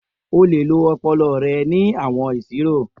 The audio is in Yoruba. O le lo ọpọlọ rẹ ni awọn iṣiro.